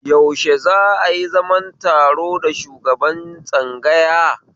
Yaushe za'a yi zaman taro da shugaban tsangaya?